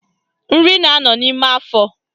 Nri na-anọ n'ime afọ